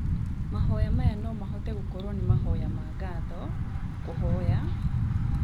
Mahoya maya no mahote gũkorwo nĩ mahoya ma ngatho, kũhoya,